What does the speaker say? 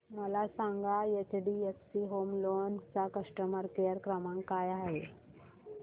मला सांगा HDFC home loan चा कस्टमर केअर क्रमांक काय आहे